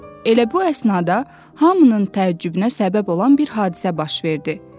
Elə bu əsnada hamının təəccübünə səbəb olan bir hadisə baş verdi.